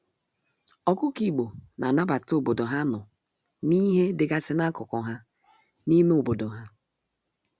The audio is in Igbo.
Ọkụkọ igbo na anabata obodo ha nọ na ihe dịgasị n'akụkụ ha n'ime obodo ha.